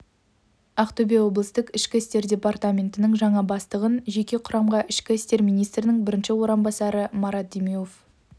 ақтөбе облыстық ішкі істер департаментінің жаңа бастығын жеке құрамға ішкі істер министрінің бірінші орынбасары марат демеуов